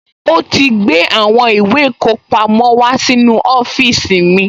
Ó ti gbé àwọn ìwé ìkọpamọ́ wá sínú ọ́fíìsì mi